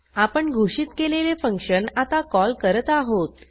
आपण घोषित केलेले फंक्शन आता कॉल करत आहोत